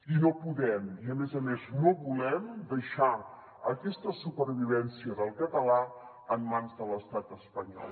i no podem i a més a més no volem deixar aquesta supervivència del català en mans de l’estat espanyol